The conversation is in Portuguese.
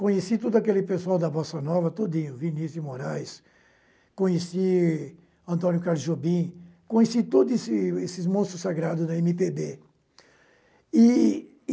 Conheci todo aquele pessoal da Bossa Nova todinho, Vinícius de Moraes, conheci Antônio Carlos Jobim, conheci todos esses esses monstros sagrados da eme pê bê. E e